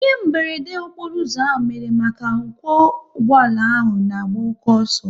Ihe meberede okporo ụzọ ahụ mere maka n'okwo ụgbọala ahụ na-agba oke ọsọ